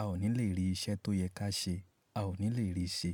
a ò ní lè rí iṣẹ́ tó yẹ ká ṣe, a ò ní lè rí ì ṣe.